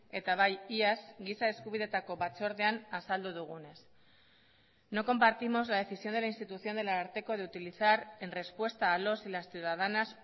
eta bai iaz giza eskubideetako batzordean azaldu dugunez no compartimos la decisión de la institución del ararteko de utilizar en respuesta a los y las ciudadanas